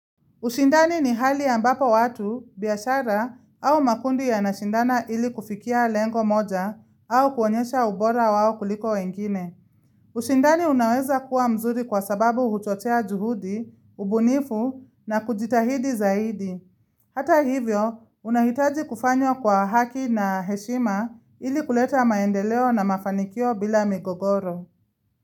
Ushindani ni hali ambapo watu, biashara au makundi yanashindana ili kufikia lengo moja au kuonyesha ubora wao kuliko wengine. Ushindani unaweza kuwa mzuri kwa sababu huchochea juhudi, ubunifu na kujitahidi zaidi. Hata hivyo, unahitaji kufanyo kwa haki na heshima ili kuleta maendeleo na mafanikio bila migogoro.